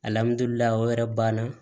Alihamdullilaye o yɛrɛ banna